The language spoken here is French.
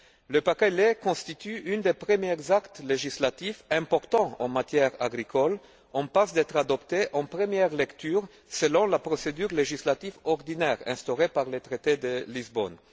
Le paquet lait constitue un des premiers actes législatifs importants en matière agricole en passe d'être adopté en première lecture selon la procédure législative ordinaire instaurée par le traité de Lisbonne.